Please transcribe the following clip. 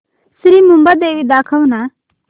श्री मुंबादेवी दाखव ना